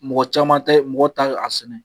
Mɔgɔ caman tɛ mɔgɔ tɛ a sɛnɛ.